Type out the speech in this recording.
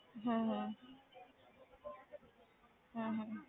ਹਮ ਹਮ ਹਮ ਹਮ